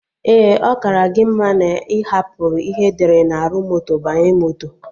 Ee, ọ kara gị mma na ị hapụrụ ihe edere na arụ moto banye moto